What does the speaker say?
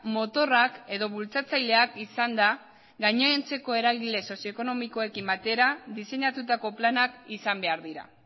motorrak edo bultzatzaileak izanda gainontzeko eragile sozioekonomikoekin batera diseinatutako planak izan behar dira